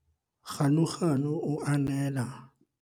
Ganuganu o ananela batsamaisi ba hae le basebetsi mmoho le ena.